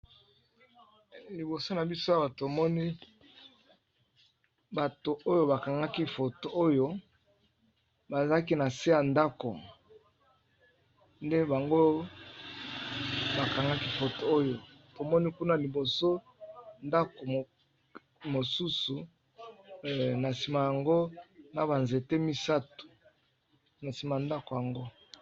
Liiboso na biso awa tomoni bato oyo ba kangaki photo oyo ba zalaki na se ya ndako nde bango ba kangaki photo oyo. To moni kuna liboso, ndako mosusu na sima n'ango na ba nzete misato na sima ya ndako yango .